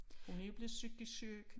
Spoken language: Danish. Hun er jo blevet psykisk syg